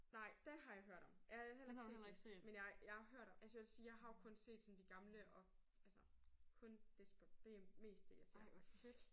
Nej det har jeg hørt om. Jeg har heller ikke set det men jeg jeg har hørt om det. Altså jeg vil sige jeg har jo også kun set sådan de gamle og altså kun desperate det er mest det jeg ser faktisk